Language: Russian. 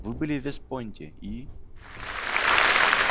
вы были в вест-пойнте и